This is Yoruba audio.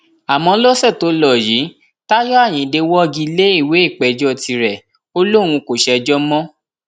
àmọ lọsẹ tó lò yìí táyọ ayíǹde wọgi lé ìwé ìpéjọ tirẹ ó lóun kò ṣèjọ mọ